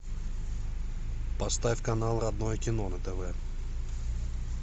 поставь канал родное кино на тв